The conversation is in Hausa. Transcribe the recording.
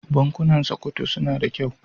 Bankunan Sokoto suna da kyau.